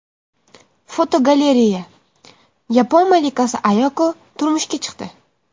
Fotogalereya: Yapon malikasi Ayako turmushga chiqdi.